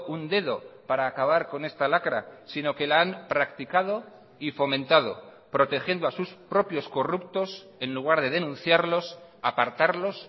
un dedo para acabar con esta lacra sino que la han practicado y fomentado protegiendo a sus propios corruptos en lugar de denunciarlos apartarlos